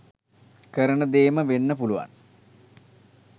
කරන දේම වෙන්න පුළුවන්.